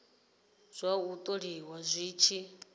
zwa u tholiwa zwi tshi